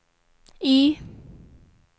Y